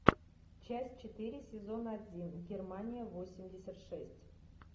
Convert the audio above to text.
часть четыре сезона один германия восемьдесят шесть